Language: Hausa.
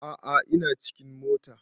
A a ina cikin mota.